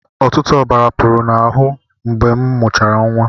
Ọtụtụ ọbara pụrụ m n'ahụ mgbe m mụchara nwa.